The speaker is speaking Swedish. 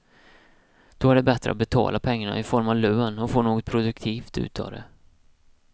Då är det bättre att betala pengarna i form av lön och få något produktivt ut av det.